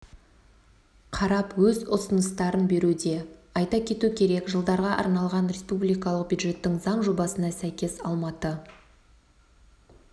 қарап өз ұсыныстарын беруде айта кету керек жылдарға арналған республикалық бюджеттің заң жобасына сәйкес алматы